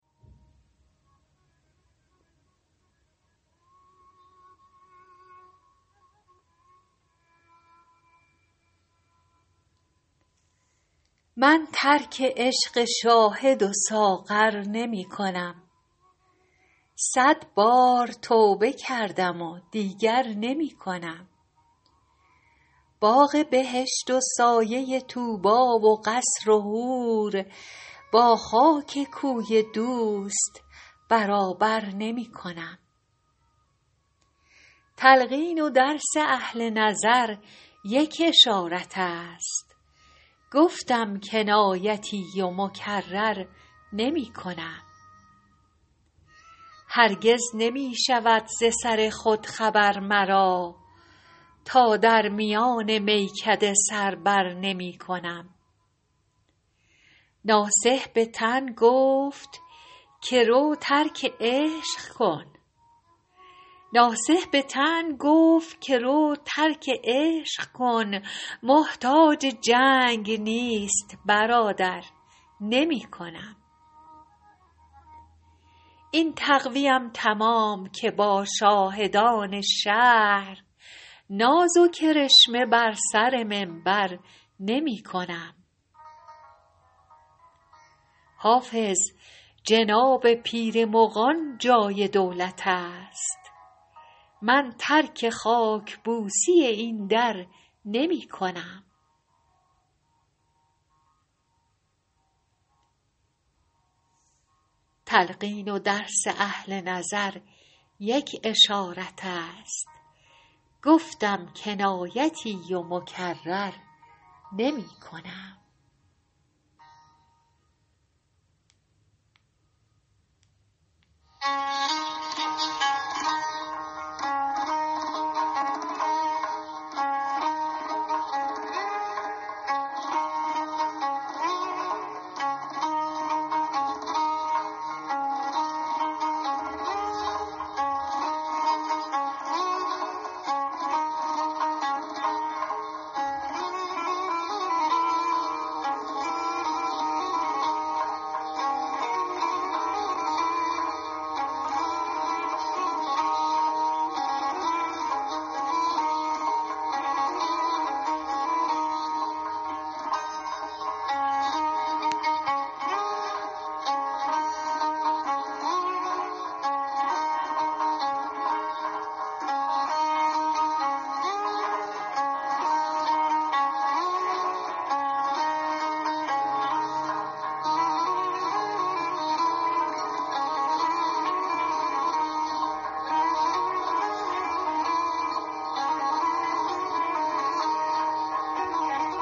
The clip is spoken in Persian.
من ترک عشق شاهد و ساغر نمی کنم صد بار توبه کردم و دیگر نمی کنم باغ بهشت و سایه طوبی و قصر و حور با خاک کوی دوست برابر نمی کنم تلقین و درس اهل نظر یک اشارت است گفتم کنایتی و مکرر نمی کنم هرگز نمی شود ز سر خود خبر مرا تا در میان میکده سر بر نمی کنم ناصح به طعن گفت که رو ترک عشق کن محتاج جنگ نیست برادر نمی کنم این تقوی ام تمام که با شاهدان شهر ناز و کرشمه بر سر منبر نمی کنم حافظ جناب پیر مغان جای دولت است من ترک خاک بوسی این در نمی کنم